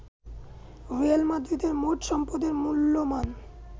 Real মাদ্রিদের মোট সম্পদের মূল্যমান